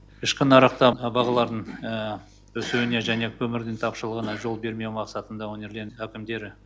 ішкі нарықта бағалардың өсуіне және көмірдің тапшылығына жол бермеу мақсатында өңірден әкімдері